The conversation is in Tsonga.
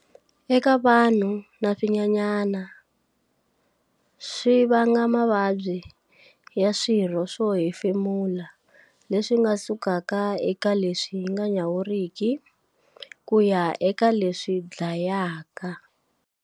Eka vanhu na swinyanyana, swi va nga mavabyi ya swirho swo hefemula leswi nga sukaka eka leswi nga nyawuriki ku ya eka leswi dlayaka.